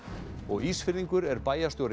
Ísfirðingur er bæjarstjóri